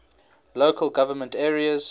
local government areas